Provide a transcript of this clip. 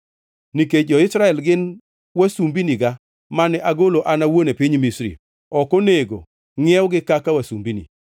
Nikech jo-Israel gin wasumbiniga mane agolo an awuon e piny Misri, ok onego ngʼiewgi kaka wasumbini.